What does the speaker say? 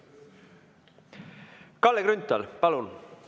Kalle Grünthal, palun!